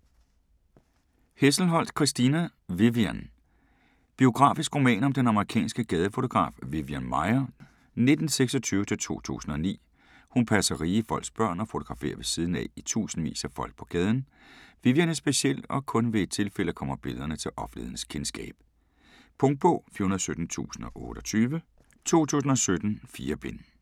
Hesselholdt, Christina: Vivian Biografisk roman om den amerikanske gadefotograf Vivian Maier (1926-2009). Hun passer rige folks børn og fotograferer ved siden af i tusindvis af folk på gaden. Vivian er speciel, og kun ved et tilfælde kommer billederne til offentlighedens kendskab. Punktbog 417028 2017. 4 bind.